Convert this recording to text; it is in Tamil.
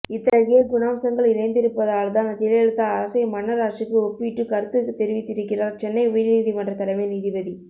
இத்தகைய குணாம்சங்கள் நிறைந்திருப்பதால்தான் ஜெயலலிதா அரசை மன்னர் ஆட்சிக்கு ஒப்பிட்டு கருத்து தெரிவித்திருக்கிறார் சென்னை உயர்நீதிமன்றத் தலைமை நீதிபதி